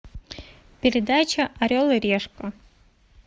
передача орел и решка